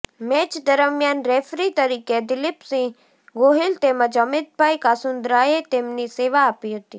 match દરમ્યાન referee તરીકે દિલીપસિંહ ગોહિલ તેમજ અમિતભાઇ કાસુંદ્રાએ તેમની સેવા આપી હતી